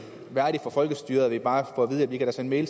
værdigt for folkestyret at vi bare får at vide at vi kan sende en